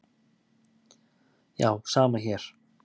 Já, sama hér.